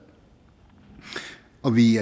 og vi i